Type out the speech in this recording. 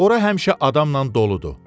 Ora həmişə adamla doludur.